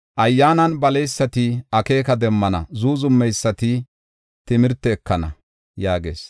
Ayyaanan baleysati akeeka demmana; zuuzumeysati timirte ekana” yaagees.